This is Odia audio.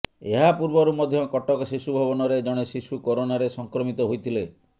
ଏହା ପୂର୍ବରୁ ମଧ୍ୟ କଟକ ଶିଶୁ ଭବନରେ ଜଣେ ଶିଶୁ କରୋନାରେ ସଂକ୍ରମିତ ହୋଇଥିଲେ